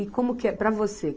E como que é para você?